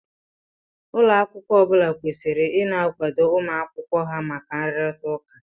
Ụlọ akwụkwọ ọbula kwesịrị ina akwado ụmụ akwụkwọ ha maka nrurita ụka